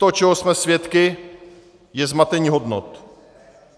To, čeho jsme svědky, je zmatení hodnot.